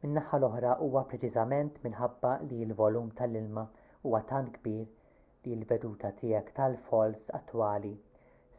min-naħa l-oħra huwa preċiżament minħabba li l-volum tal-ilma huwa tant kbir li l-veduta tiegħek tal-falls attwali